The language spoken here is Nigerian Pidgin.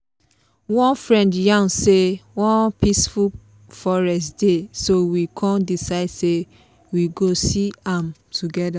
one friend yarn say one peaceful forest dey so we come decide say we go see am together.